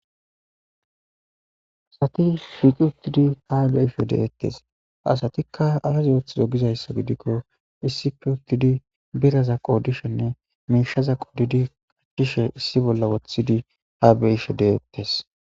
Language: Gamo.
Asati shiqi utidi hasayishe de'etes. Asatika azi othizo gizaysa gidiko issippe utidi birraza qodishenne mishaza qodidi issibolla wothishe de'etes.